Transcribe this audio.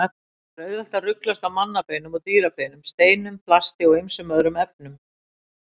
Það er auðvelt að ruglast á mannabeinum og dýrabeinum, steinum, plasti og ýmsum öðrum efnum.